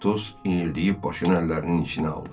Atos inildəyib başını əllərinin içinə aldı.